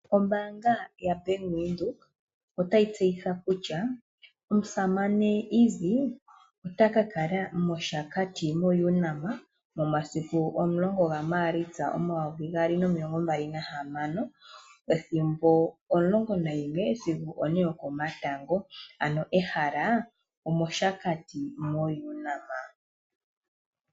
Ombanga yaBank Windhoek otayi tseyitha kutya omusamane Easy otakala moShakati moUNAM momasiku omulongo gaMaalista 2026, pethimbo omulongo nayimwe sigo one yokomatango, nehala omoShakati mo UNAM.